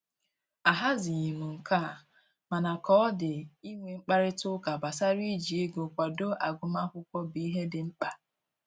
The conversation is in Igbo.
Ahazighị m nke a, mana ka ọ dị inwe mkparịta ụka gbasara iji ego kwado agụmakwụkwọ bụ ihe dị mkpa